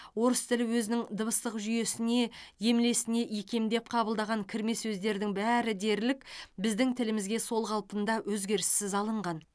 орыс тілі өзінің дыбыстық жүйесіне емлесіне икемдеп қабылдаған кірме сөздердің бәрі дерлік біздің тілімізге сол қалпында өзгеріссіз алынған